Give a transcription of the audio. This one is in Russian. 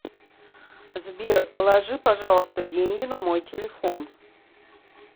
сбер положи пожалуйста деньги на мой телефон